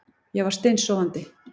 Ég var steinsofandi